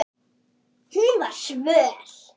Hún var svöl.